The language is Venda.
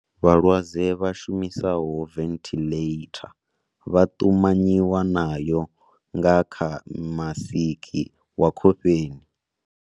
Vhalwadze vha shumisaho venthiḽeitha vha ṱumanyiwa nayo nga kha masiki wa khofheni.